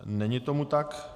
Není tomu tak.